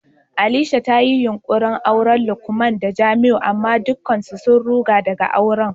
Alisha ta yi yunkurin auran Lukman da Jamiu amma dukkan su sun ruga daga auren.